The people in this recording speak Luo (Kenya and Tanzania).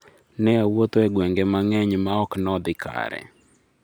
Ne awuotho e gwenge mang'eny ma ok no odhi kare